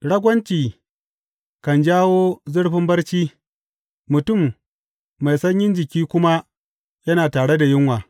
Ragwanci kan jawo zurfin barci, mutum mai sanyin jiki kuma yana tare da yunwa.